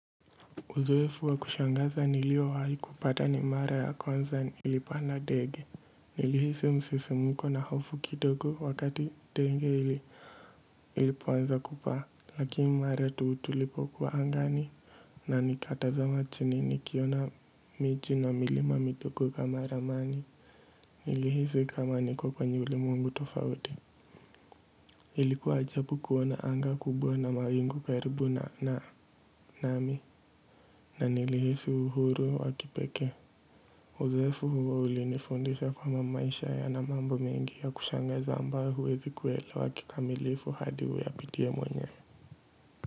Uzoefu wa kushangaza niliowahi kupata ni mara ya kwanza nilipanda dege. Nilihisi msisimuko na hofu kidogo wakati ndege ilipoanza kupaa. Lakini mara tu tulipokuwa angani na nikatazama chini nikiona miti na milima midogo kama ramani. Nilihisi kama niko kwenye ulimwengu tofauti. Ilikuwa ajabu kuona anga kubwa na mawingu karibu na nami. Na nilihisi uhuru wa kipekee. Uzoefu huo ulinifundisha kama maisha yana mambo mengi ya kushangaza ambayo huwezi kuelewa kikamilifu hadi huwe ayapitie mwenye.